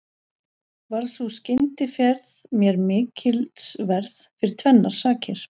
Varð sú skyndiferð mér mikilsverð fyrir tvennar sakir.